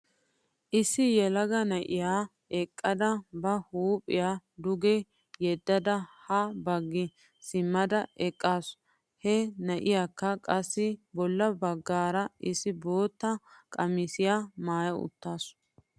Issi yelaga na'iyaa eqqada ba huupiyaa duge yeddada ha baggi simmada eqqasu. He naiyaakka qassi bolla bagaara issi bootta qamissiyaa maaya uttasu.